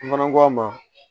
Mana ko a ma